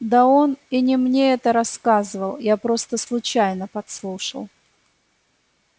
да он и не мне это рассказывал я просто случайно подслушал